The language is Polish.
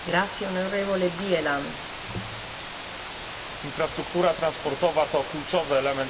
Infrastruktura transportowa to kluczowy element sprawnego funkcjonowania jednolitego rynku europejskiego.